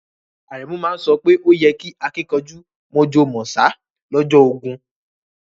Aremu ma so pe o yí kẹ́ àkìnkanjú mọ̀jọ̀ mọ̀sá lọ́jọ́ ogún